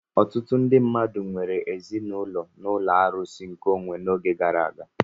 Ọtụtụ ndị mmadụ nwere ezinaụlọ na ụlọ arụsị nkeonwe n'oge gara aga.